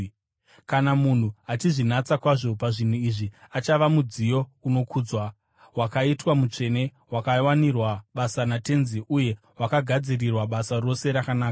Kana munhu achizvinatsa kwazvo pazvinhu izvi, achava mudziyo unokudzwa, wakaitwa mutsvene, wakawanirwa basa naTenzi uye wakagadzirirwa basa rose rakanaka.